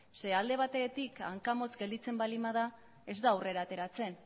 zeren eta alde batetik hanka motz gelditzen baldin bada ez da aurrera ateratzen